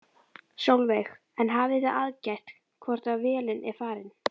Sólveig: En hafið þið aðgætt hvort að vélin er farin?